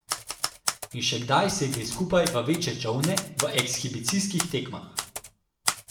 In še kdaj sedli skupaj v večje čolne v ekshibicijskih tekmah.